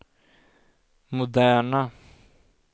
moderna